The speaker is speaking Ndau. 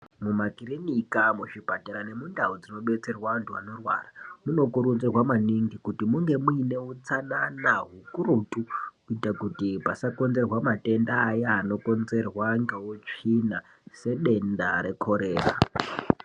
Mumakirinika, muzvipatara nemundau dzinobetserwa antu anorwara munokurudzirwa maningi kuti munge muine utsanana hukurutu kuita kuti pasakonzerwa matenda aya anokonzerwa ngeutsvina sedenda rekhorera.